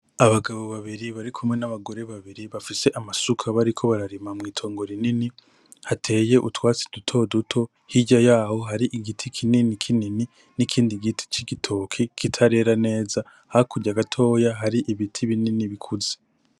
Abagabo babiri barikumwe n'abagore babiri bafise amasuka bariko bararima mw'itongo rinini ,hateye utwatsi duto duto hirya yaho hari igiti kinini kinini n'ikindi giti c'igitoke kitarera neza, hakurya gatoya hari ibiti binini bikuze.